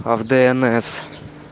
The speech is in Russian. а в днс